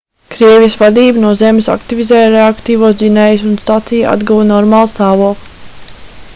krievijas vadība no zemes aktivizēja reaktīvos dzinējus un stacija atguva normālu stāvokli